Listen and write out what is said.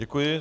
Děkuji.